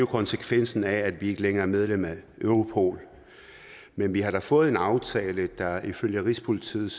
konsekvensen af at vi ikke længere er medlem af europol men vi har da fået en aftale der ifølge rigspolitiets